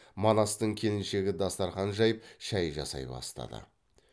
манастың келіншегі дастарқан жайып шай жасай бастады